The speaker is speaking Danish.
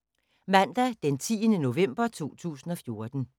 Mandag d. 10. november 2014